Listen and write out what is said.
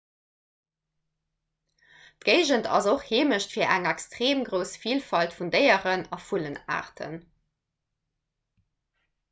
d'géigend ass och heemecht fir eng extreem grouss vilfalt vun déieren a vullenaarten